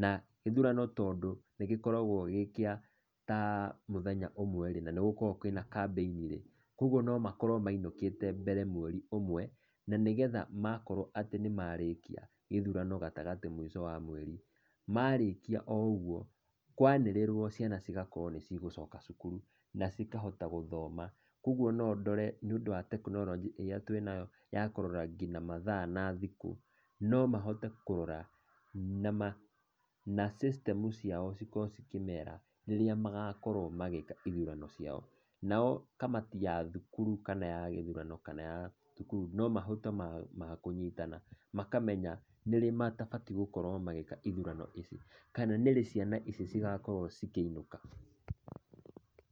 na gĩthurano tondũ gĩkoragwo gĩtamũthenya ũmwe na nĩ gũkoragwo kambeinirĩ, koguo no makorwo mainũkĩte mbere mweri ũmwe, na nĩgetha makorwo nĩ marĩkia gatagatĩ gĩthurano mũico wa mweri. Marĩkia o ũguo, kwanĩrĩrwo ciana cigakorwo nĩ cia coka cukuru, na cikahota gũthoma. Koguo no ndore nĩũndũ wa tekinoronjĩ ĩrĩa tũĩnayo ya kũrora ngina mathaa na thikũ, no mahote kũrora na system ciao cikorwo cikĩmera rĩrĩa magakorwo magĩka ithurano ciao. Nao kamati ya thukuru kana ya gĩthurano nomahote ma kũnyitana, makamenya nĩrĩ matabatiĩ gũkorwo magĩka ithurano ici, kana nĩrĩ ciana ici cigakorwo cikĩinũka.